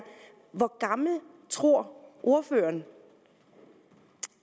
hvor gammel tror ordføreren